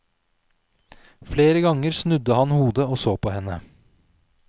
Flere ganger snudde han hodet og så på henne.